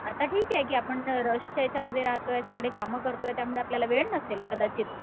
आता ठीक आहे की आपण रशच्या याच्यामध्ये राहतोय सगळे कामं करतोय त्यामुळे नसेल कदाचित.